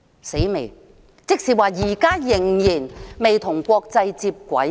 真要命，這即是承認我們現時仍然未與國際接軌。